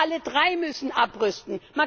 Aber alle drei müssen abrüsten!